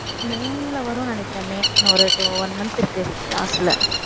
மே ல வரும்னு நினைக்கிறேன் மே இன்னும் ஒரு two one month இருக்கு last ல